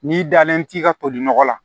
N'i dalen t'i ka toli nɔgɔ la